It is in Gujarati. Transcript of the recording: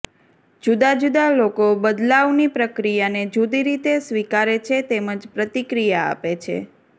જુદા જુદા લોકો બદલાવની પ્રક્રિયાને જુદી રીતે સ્વિકારે છે તેમજ પ્રતિક્રિયા આપે છે